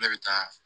Ne bɛ taa